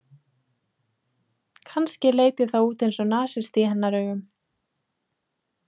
Kannski leit ég þá út eins og nasisti í hennar augum.